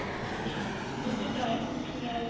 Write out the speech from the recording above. ਠੀਕ ਏ ਜੀ dry fruits ਵਗੈਰਾ ਵੀ